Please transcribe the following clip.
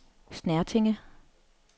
Snertinge